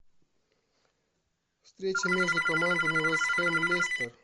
встреча между командами вест хэм лестер